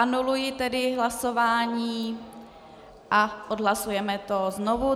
Anuluji tedy hlasování a odhlasujeme to znovu.